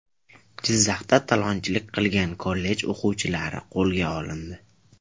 Jizzaxda talonchilik qilgan kollej o‘quvchilari qo‘lga olindi.